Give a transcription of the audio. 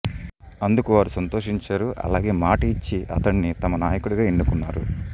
అందుకు వారు సంతోషించారు అలాగే మాట ఇచ్చి అతడిని తమ నాయకుడిగా ఎన్నుకున్నారు